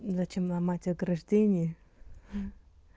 зачем ломать ограждении